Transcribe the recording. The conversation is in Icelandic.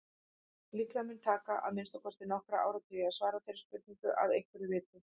Líklega mun taka að minnsta kosti nokkra áratugi að svara þeirri spurningu að einhverju viti.